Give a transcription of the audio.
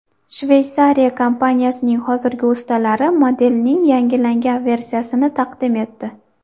Shveysariya kompaniyasining hozirgi ustalari modelning yangilangan versiyasini taqdim etdi.